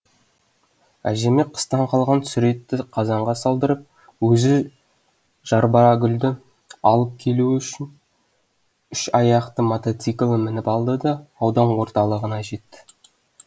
әжеме қыстан қалған сүр етті қазанға салдырып өзі жарбагүлді алып келу үшін үш аяқты мотоциклін мініп алды да аудан орталығына кетті